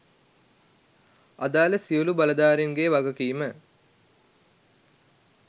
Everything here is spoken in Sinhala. අදාළ සියලු බලධාරීන්ගේ වගකීම